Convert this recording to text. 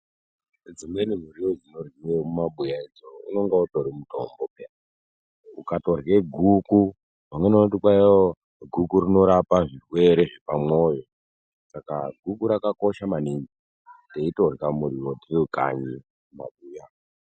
Dzimweni muriwo dzinoryiwe mumabuya idzounenge utori mutombo paya ukarya guku vamweni vanoti kwaiwo guku rinorapa zvirwere zvepamwoyo saka guku rakakosha maningi teitorya muriwo tiri kanyi mumabuya.